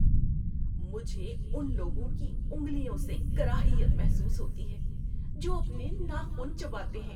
مجھے ان لوگوں کی انگلیوں سے کراہیت محسوس ہوتی ہے جو اپنے ناخن چباتے ہیں۔